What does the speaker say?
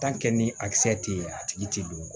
ni a kisɛ tɛ yen a tigi ti don